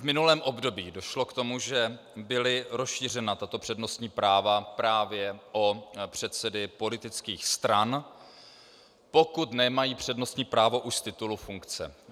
V minulém období došlo k tomu, že byla rozšířena tato přednostní práva právě o předsedy politických stran, pokud nemají přednostní právo už z titulu funkce.